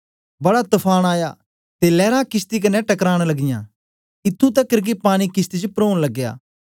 बड़ा तफान आया ते लैरां किशती कन्ने टकरां लगियाँ इत्थूं तकर के पानी किशती च परोन लगया